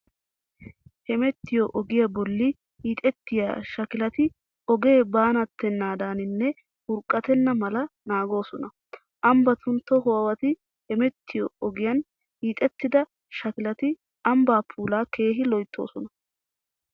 Hemettiyo ogiyaa bolli hiixettiya shakilati ogee baanatennaadaninne urqqatenna mala naagoosona. Ambbatun tohuwaawati hemettiyo ogiyan hiixettida shakilati ambbaa puulaa keehi loyttoosona.